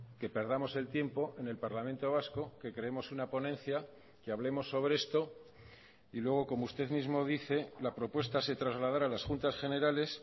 que perdamos el tiempo en el parlamento vasco que creemos una ponencia que hablemos sobre esto y luego como usted mismo dice la propuesta se trasladará a las juntas generales